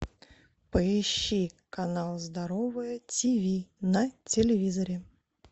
поищи канал здоровое тв на телевизоре